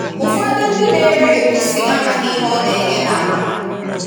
Ụfọdụ ndị na-eré égusi amaghị ihe ọ na-ényé n'ahụ.